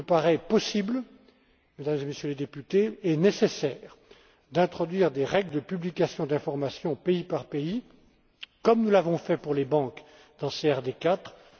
Il me paraît possible, Mesdames et Messieurs les députés, et nécessaire d'introduire des règles de publication d'informations pays par pays, comme nous l'avons fait pour les banques dans la CRD